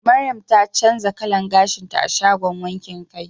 Mariam ta canza kalan gashinta a shagon wankin kai